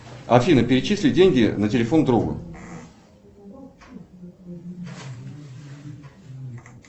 афина перечисли деньги на телефон друга